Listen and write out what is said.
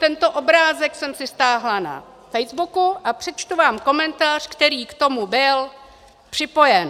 Tento obrázek jsem si stáhla na facebooku a přečtu vám komentář, který k tomu byl připojen.